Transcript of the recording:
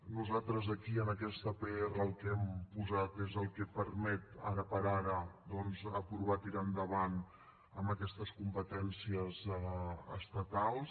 nosaltres aquí en aquesta pr el que hem posat és el que permet ara per ara doncs aprovar tirar endavant amb aquestes competències estatals